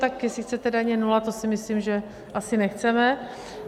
Tak jestli chcete daně nula, to si myslím, že asi nechceme.